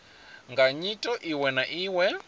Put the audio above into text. nga nyito iwe na iwe